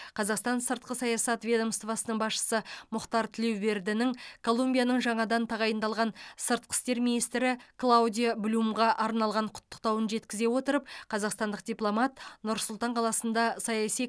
қазақстан сыртқы саясат ведомствосының басшысы мұхтар тілеубердінің колумбияның жаңадан тағайындалған сыртқы істер министрі клаудиа блюмға арналған құттықтауын жеткізе отырып қазақстандық дипломат нұр сұлтан қаласында саяси